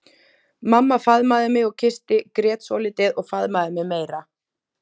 Mamma faðmaði mig og kyssti, grét svolítið og faðmaði mig meira.